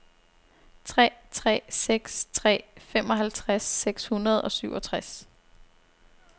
tre tre seks tre femoghalvtreds seks hundrede og syvogtres